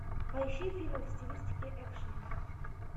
поищи фильм в стилистике экшн